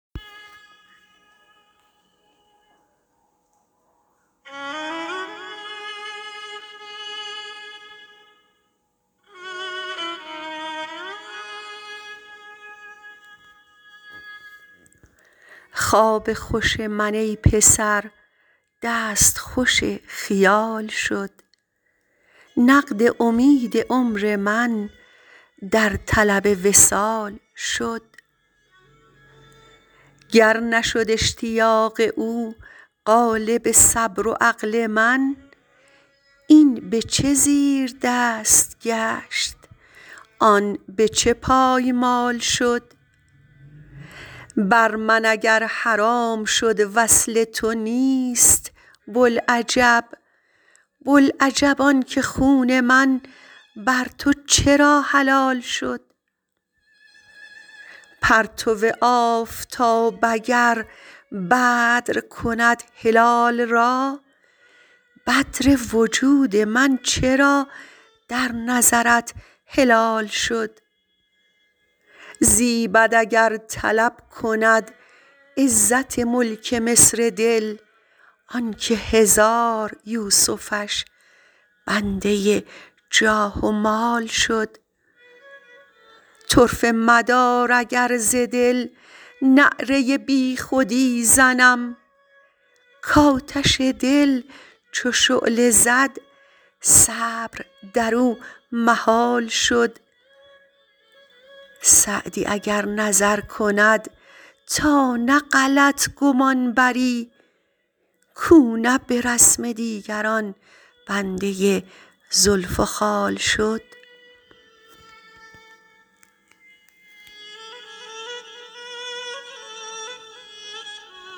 خواب خوش من ای پسر دست خوش خیال شد نقد امید عمر من در طلب وصال شد گر نشد اشتیاق او غالب صبر و عقل من این به چه زیردست گشت آن به چه پایمال شد بر من اگر حرام شد وصل تو نیست بوالعجب بوالعجب آن که خون من بر تو چرا حلال شد پرتو آفتاب اگر بدر کند هلال را بدر وجود من چرا در نظرت هلال شد زیبد اگر طلب کند عزت ملک مصر دل آن که هزار یوسفش بنده جاه و مال شد طرفه مدار اگر ز دل نعره بی خودی زنم کآتش دل چو شعله زد صبر در او محال شد سعدی اگر نظر کند تا نه غلط گمان بری کاو نه به رسم دیگران بنده زلف و خال شد